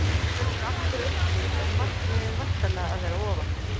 Í ár fellur aftur eitt lið en markmiðið er væntanlega að vera ofar?